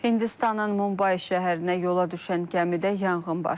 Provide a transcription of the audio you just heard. Hindistanın Mumbai şəhərinə yola düşən gəmidə yanğın baş verib.